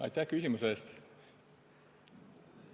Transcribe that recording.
Aitäh küsimuse eest!